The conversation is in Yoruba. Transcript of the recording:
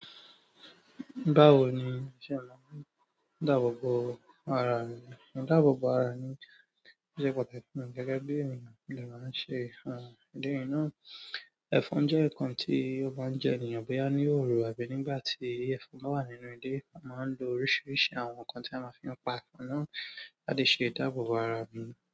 Báwo ni iṣẹ́ náà? Ìdáàbòbò ara ẹni, ìdáàbòbò ara ẹni jẹ́ pàtàkì fún mi gẹ́gẹ́ bí èèyàn ni màá ń ṣe. Òun, ìdí iná, ẹfọn jẹ́ ǹkan tí ó bá ń jẹ èèyàn bóyá ní òru àbí nígbà tí ẹfọn bá wà nínú ilé. A máa ń lo oríṣìíríṣìí àwọn nǹkan tí a máa fi ń pa ẹ̀fọn náà láti ṣe ìdáàbòbò ara mi.